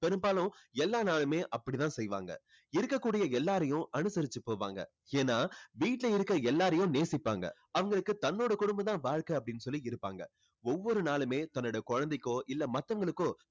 பெரும்பாலும் எல்லா நாளுமே அப்படித்தான் செய்வாங்க. இருக்கக்கூடிய எல்லாரையும் அனுசரிச்சு போவாங்க. ஏன்னா வீட்டுல இருக்க எல்லாரையும் நேசிப்பாங்க. அவங்களுக்கு தன்னோட குடும்பம் தான் வாழ்க்கை அப்படின்னு சொல்லி இருப்பாங்க ஒவ்வொரு நாளுமே தன்னோட குழந்தைக்கோ இல்ல மற்றவங்களுக்கோ